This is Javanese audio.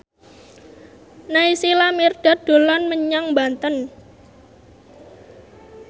Naysila Mirdad dolan menyang Banten